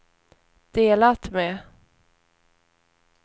delat med